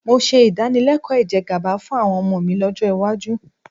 Mo ṣe ìdánilẹ́kọ̀ọ́ ìjẹgàba fún àwọn ọmọ mi lọ́jọ́ iwájú